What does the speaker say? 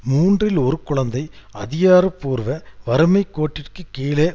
மூன்றில் ஒரு குழந்தை அதிகாரபூர்வ வறுமை கோட்டிற்கு கீழே